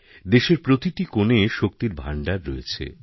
দেশের প্রতিটি কোণে শক্তির ভাণ্ডার রয়েছে